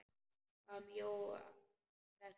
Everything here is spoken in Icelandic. Hvað með Jóa fress?